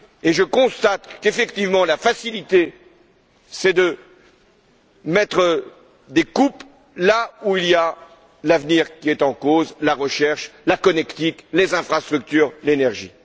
Je constate qu'effectivement, la facilité c'est de faire des coupes là où l'avenir est en cause, dans la recherche, la connectique, les infrastructures, l'énergie.